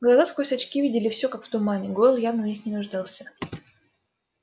глаза сквозь очки видели всё как в тумане гойл явно в них не нуждался